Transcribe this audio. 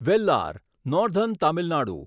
Vellar northern Tamil Nadu